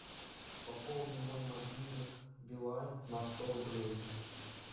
пополни мой мобильник билайн на сто рублей